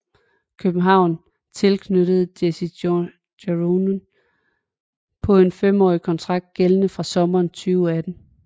København tilknyttede Jesse Joronen på en fem årig kontrakt gældende fra sommeren 2018